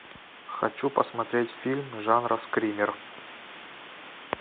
хочу посмотреть фильм жанра скример